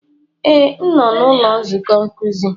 Ee, m nọ n'ụlọ nzukọ nkuzi.